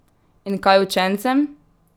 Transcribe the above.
In kaj učencem?